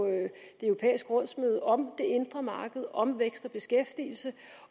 det europæiske rådsmøde om det indre marked og om vækst og beskæftigelse